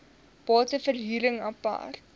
bate verhuring apart